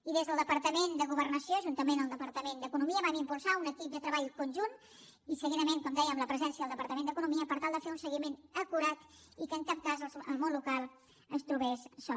i des del departament de governació juntament amb el departament d’economia vam impulsar un equip de treball conjunt i seguidament com dèiem la presència del departament d’economia per tal de fer un seguiment acurat i que en cap cas el món local es trobés sol